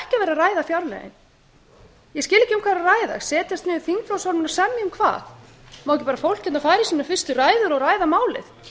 ræða setjast niður þingflokksformenn og semja um hvað má ekki bara fólk hérna fara í sínar fyrstu ræður og ræða málið